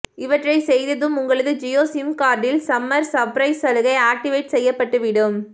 இவற்றை செய்ததும் உங்களது ஜியோ சிம் கார்டில் சம்மர் சர்ப்ரைஸ் சலுகை ஆக்டிவேட் செய்யப்பட்டு விடும்